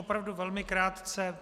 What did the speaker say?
Opravdu velmi krátce.